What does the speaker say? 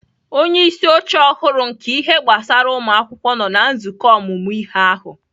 Onye isi oche ọhụrụ nke ihe gbasara ụmụ akwụkwọ nọ na nzukọ ọmụmụ ihe ahụ